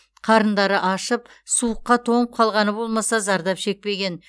қарындары ашып суыққа тоңып қалғаны болмаса зардап шекпеген